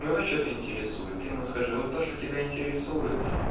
его что-то интересует ему скажи вот то что тебя интересует